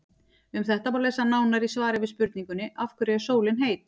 Um þetta má lesa nánar í svari við spurningunni Af hverju er sólin heit?.